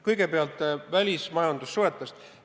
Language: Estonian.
Kõigepealt välismajandussuhetest.